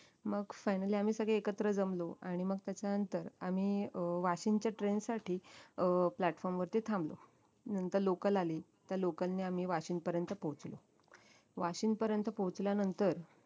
मग finally आम्ही सगळे एकत्र जमलो आणि मग त्याच्यानंतर आम्ही अं वाशिंदच्या train साठी अं platform वरती थांबलो नंतर local आली त्या local ने आम्ही वाशिंदपर्यंत पोहचलो वाशिंदपर्यंत पोहचल्यानंतर